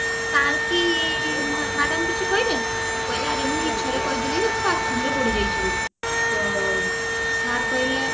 sir କି madam କିଛି କହିଲେ ମୁଁ କହିଲି ଆରେ ମୁଁ ମିଛରେ କହିଦେଲି ଯେ ମୁଁ bathroom ରେ ପଡିଯାଇଛି ବୋଲି ତ sir କହିଲେ